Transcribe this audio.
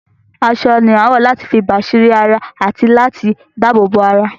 Aṣọ ni a ń wọ láti fi bàsírí ara àti láti dabobo ara